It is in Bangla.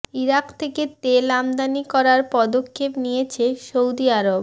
ইরাক থেকে তেল আমদানি করার পদক্ষেপ নিয়েছে সৌদি আরব